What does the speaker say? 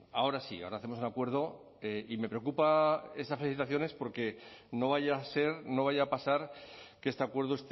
ahora sí ahora hacemos un acuerdo y me preocupan esas felicitaciones porque no vaya a ser no vaya a pasar que este acuerdo